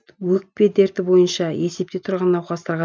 өкпе дерті бойынша есепте тұрған науқастарға